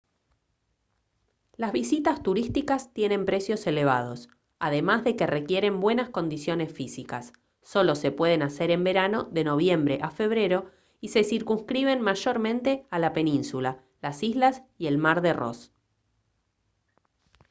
las visitas turísticas tienen precios elevados además de que requieren buenas condiciones físicas solo se pueden hacer en verano de noviembre a febrero y se circunscriben mayormente a la península las islas y el mar de ross